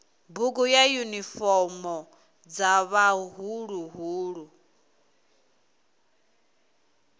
bugu na yunifomo dza vhaḓuhulu